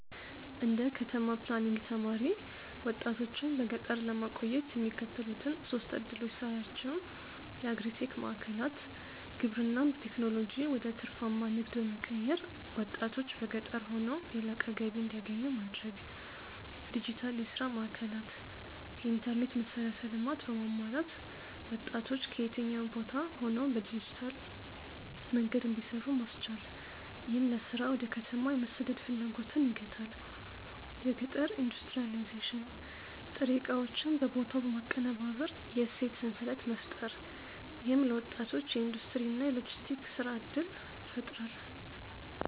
እንደ ከተማ ፕላኒንግ ተማሪ፣ ወጣቶችን በገጠር ለማቆየት የሚከተሉትን ሶስት ዕድሎች ሳያቸው የአግሪ-ቴክ ማዕከላት: ግብርናን በቴክኖሎጂ ወደ ትርፋማ ንግድ በመቀየር፣ ወጣቶች በገጠር ሆነው የላቀ ገቢ እንዲያገኙ ማድረግ። ዲጂታል የሥራ ማዕከላት: የኢንተርኔት መሠረተ ልማት በማሟላት ወጣቶች ከየትኛውም ቦታ ሆነው በዲጂታል መንገድ እንዲሰሩ ማስቻል፣ ይህም ለሥራ ወደ ከተማ የመሰደድ ፍላጎትን ይገታል። የገጠር ኢንዱስትሪያላይዜሽን: ጥሬ ዕቃዎችን በቦታው በማቀነባበር የእሴት ሰንሰለት መፍጠር። ይህም ለወጣቶች የኢንዱስትሪ እና የሎጂስቲክስ የሥራ ዕድል ይፈጥራል።